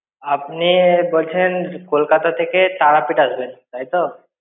আপনি বলছেন কলকাতা থেকে তারাপীঠ আসবেন তাই তো?